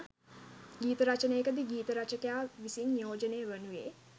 ගීත රචනයකදී ගීත රචකයා විසින් නියෝජනය වනුයේ